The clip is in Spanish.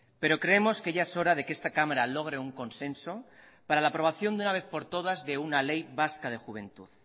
pero creemos que ya es hora de que esta cámara logre un consenso para la aprobación de una vez por todas de una ley vasca de juventud